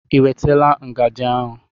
Ị wetala ngajị ahụ?